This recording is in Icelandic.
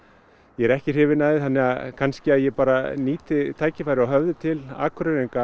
ég er ekki hrifinn af því þannig að kannski ég bara nýti tækifærið og höfði til Akureyringa